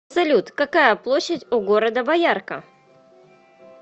салют какая площадь у города боярка